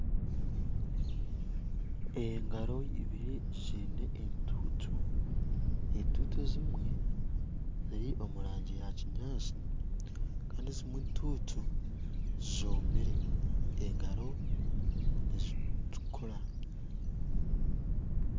Engaro ibiri ziine entutu, entutu ezimwe ziri omurangi yakyinyantsi, Kandi ezimwe entuutu zomire, engaro nizi-tukura